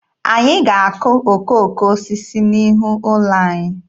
Anyị ga-akụ okooko osisi n'ihu ụlọ anyị.